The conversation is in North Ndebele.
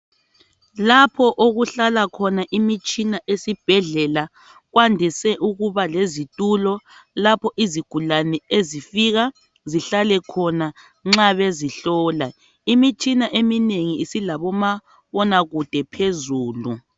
Lapho okuhlala khona imitshina esibhedlela kwandise ukuba lezitulo lapho izigulane ezifika zihlale khona nxa bezihlola imitshina eminengi silomabona kude phezulu.